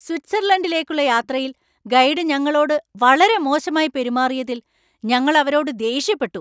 സ്വിറ്റ്സർലൻഡിലേക്കുള്ള യാത്രയിൽ ഗൈഡ് ഞങ്ങളോട് വളരെ മോശമായി പെരുമാറിയതിൽ ഞങ്ങൾ അവരോട് ദേഷ്യപ്പെട്ടു.